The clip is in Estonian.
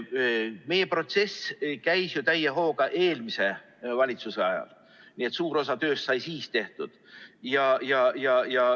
See protsess käis ju täie hooga eelmise valitsuse ajal, nii et suur osa tööst sai siis tehtud.